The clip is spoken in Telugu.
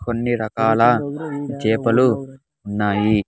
కొన్ని రకాల చేపలు ఉన్నాయి.